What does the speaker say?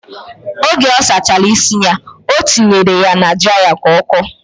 Oge ọ sachara isi ya, o tinyere ya na draịya ka ọ kọọ.